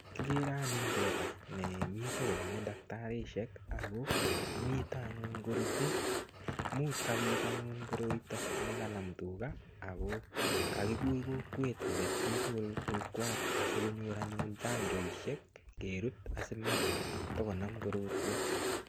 Kigere anyun teta nemito koname daktarisiek ago mito anyun korutei. Much anyun kopit koroito nekanam tuga ago kagikur kokwet koget chitugul tukwach asikonyor anyun chanjoisiek kerut asimatagonam korotwek.